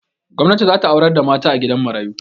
gwamnati za ta aurar da mataa a gidan mayaru